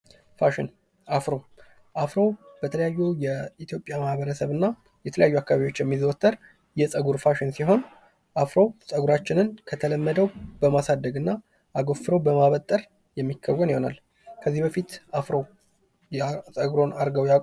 ፋሽን ፦ አፍሮ ፦አፍሮ በተለያዩ የኢትዮጵያ ማህበረሰብ እና የተለያዩ አካባቢዎች የሚዘወትር የፀጉር ፋሽን ሲሆን አፍሮ ፀጉራችንን ከተለመደው በማሳደግ እና አጎፍሮ በማበጠር የሚከወን ይሆናል ። ከዚህ በፊት አፍሮ ፀጉሩን አርገው ያውቃሉ ?